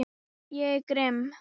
Ég er grimm.